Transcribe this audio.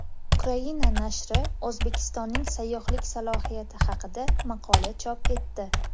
Ukraina nashri O‘zbekistonning sayyohlik salohiyati haqida maqola chop etdi.